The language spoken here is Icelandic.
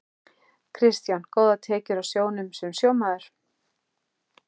Kristján: Góðar tekjur á sjónum sem sjómaður?